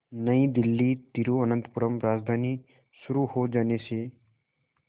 नई दिल्ली तिरुवनंतपुरम राजधानी शुरू हो जाने से